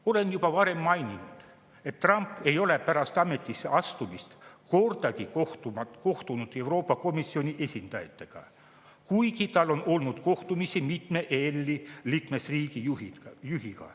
" Olen juba varem maininud, et Trump ei ole pärast ametisse astumist kordagi kohtunud Euroopa Komisjoni esindajatega, kuigi tal on olnud kohtumisi mitme EL-i liikmesriigi juhiga.